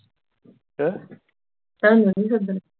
ਤਾਂ ਹੀ ਮੈਨੂੰ ਸੱਦਣਾ